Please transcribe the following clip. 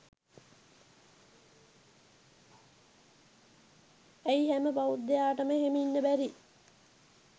ඇයි හැම බෞද්ධයාටම එහෙම ඉන්න බැරි